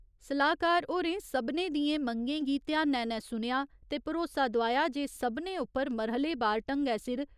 सलाह्‌कार होरें सभनें दिएं मंगें गी ध्यानै नै सुनेआ ते भरोसा दोआया जे सभनें उप्पर मरह्‌ले बार ढंगै सिर